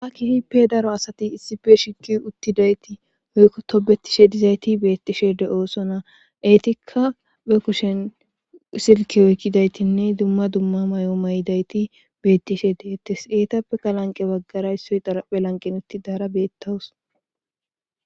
hakki hippe daro asati issife shiki uttidayti oykko tobetishe dizayti beettishe de7oosona eetikka be kushen silke oykkidaytinne dumma dumma may7o maydayti beettishe deettes eetappe qalanqe baggara issoy araphe lanqin utti daara beettawus